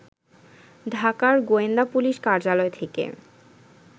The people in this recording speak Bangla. ঢাকার গোয়েন্দা পুলিশ কার্যালয় থেকে